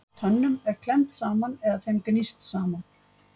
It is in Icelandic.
Tönnum er klemmt saman eða þeim er gníst saman.